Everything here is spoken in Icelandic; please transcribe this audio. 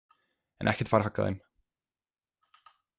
En ekkert fær haggað þeim.